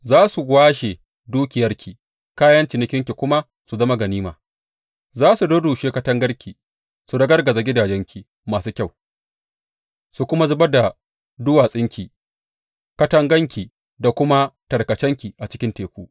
Za su washe dukiyarki, kayan cinikinki kuma su zama ganima; za su rurrushe katangarki su ragargaza gidajenki masu kyau su kuma zubar da duwatsunki, katakanki da kuma tarkacenki a cikin teku.